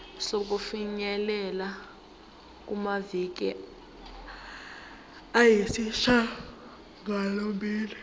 sokufinyelela kumaviki ayisishagalombili